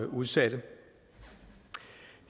udsatte